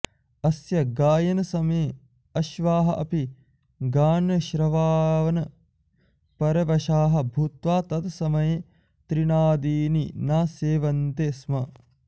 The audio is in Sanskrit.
अस्य गायनसमये अश्वाः अपि गानश्रवाणपरवशाः भूत्वा तत्समये तृणादीनि न सेवन्ते स्म